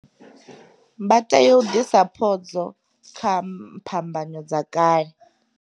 Vha tea u ḓisa phodzo kha phambano dza kale.